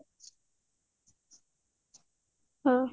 ହଁ